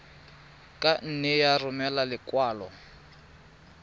ka nne ya romela lekwalo